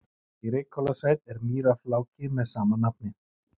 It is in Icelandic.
Í Reykhólasveit er mýrarfláki með sama nafni.